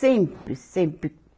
Sempre, sempre.